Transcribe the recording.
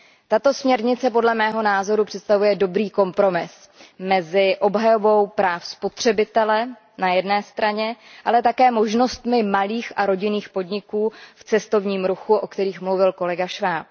Tato směrnice, podle mého názoru, představuje dobrý kompromis mezi obhajobou práv spotřebitele na jedné straně, ale také možnostmi malých a rodinných podniků v cestovním ruchu, o kterých mluvil kolega Schwab.